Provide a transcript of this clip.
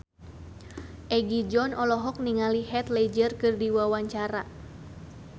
Egi John olohok ningali Heath Ledger keur diwawancara